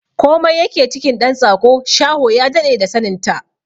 Komai yake cikin ɗan tsako, shaho ya daɗe da sanin ta!